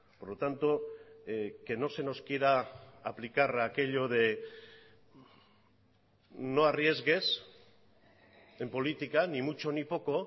por lo tanto que no se nos quiera aplicar aquello de no arriesgues en política ni mucho ni poco